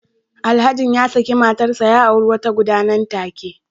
Alhajin ya saki matarsa ​​ya auri wata guda nan take